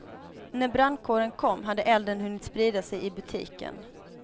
När brandkåren kom hade elden hunnit sprida sig i butiken.